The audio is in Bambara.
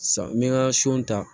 San n bɛ n ka so ta